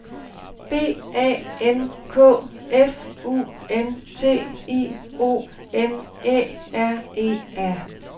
B A N K F U N T I O N Æ R E R